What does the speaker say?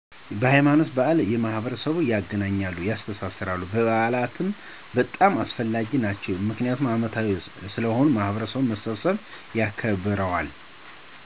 ሀይማኖታዊ በዓላት ማህበረሰቡን ያገናኛሉ፣ ያስተሳስራሉ። በዓላትም በጣም አስፈላጊዎች ናቸው ምክንያቱም አመታዊ ስለሆኑ ማህበረሰቡ በመሰብሰብ ያከብረዋል።